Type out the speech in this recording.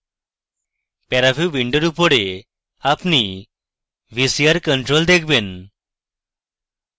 paraview উইন্ডোর উপরে আপনি vcr control দেখবেন